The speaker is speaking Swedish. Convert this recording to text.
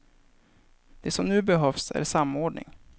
Det som nu behövs är samordning.